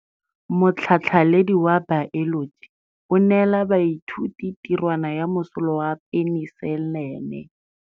Motlhatlhaledi wa baeloji o neela baithuti tirwana ya mosola wa peniselene.